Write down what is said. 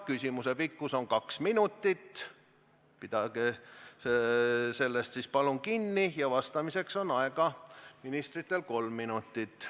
Küsimuse pikkus on kaks minutit, pidage sellest palun kinni, ja vastamiseks on ministritel aega kolm minutit.